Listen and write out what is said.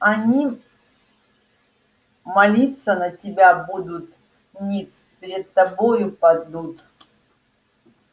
они молиться на тебя будут ниц пред тобою падут